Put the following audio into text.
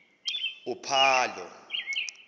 uphalo